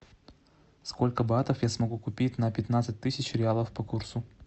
сколько батов я смогу купить на пятнадцать тысяч реалов по курсу